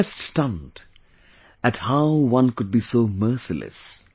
He was left stunned at how one could be so merciless